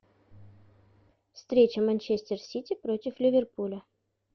встреча манчестер сити против ливерпуля